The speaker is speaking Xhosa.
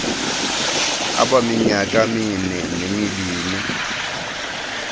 abaminyaka mine nemibini